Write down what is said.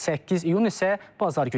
8 iyun isə bazar günüdür.